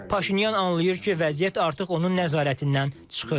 Paşinyan anlayır ki, vəziyyət artıq onun nəzarətindən çıxır.